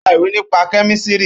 Ó ra ìwé nípa kẹ́mísìrì